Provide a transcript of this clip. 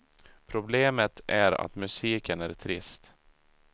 Problemet är att musiken är trist.